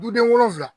Dudenw wolonvila